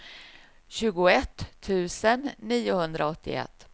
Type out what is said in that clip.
tjugoett tusen niohundraåttioett